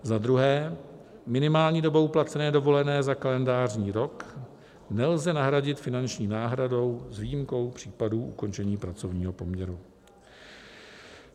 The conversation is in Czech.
Za druhé, minimální dobu placené dovolené za kalendářní rok nelze nahradit finanční náhradou s výjimkou případů ukončení pracovního poměru.